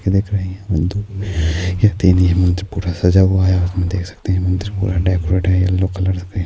یہ دیکھ رہے ہیں اپ یہ دیوی مندر پورا سچا ہوا ہے اپ دیکھ سکتے ہیں یہ مندر پورا ڈیکوریٹ ہے یہ لو کلر میں